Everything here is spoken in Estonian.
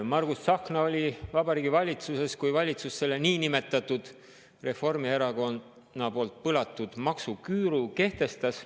Margus Tsahkna oli Vabariigi Valitsuses, kui valitsus selle niinimetatud Reformierakonna poolt põlatud maksuküüru kehtestas.